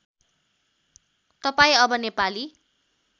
तपाईँ अब नेपाली